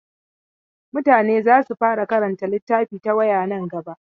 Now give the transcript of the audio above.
Mutane za su fara karanta littafi ta waya nan gaba.